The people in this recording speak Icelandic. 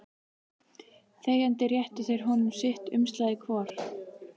Þegjandi réttu þeir honum sitt umslagið hvor.